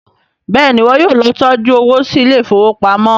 béèni iwọ yóò ló tọjú owo sí Ilé ìfowópamọ́.